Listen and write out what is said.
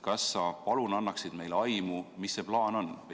Kas sa palun annaksid meile aimu, mis see plaan on?